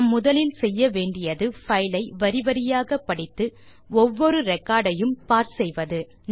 நாம் முதலில் செய்ய வேண்டியது பைல் ஐ வரி வரியாக படித்து ஒவ்வொரு ரெக்கார்ட் ஐயும் பார்ஸ் செய்வது